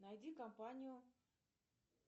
найди компанию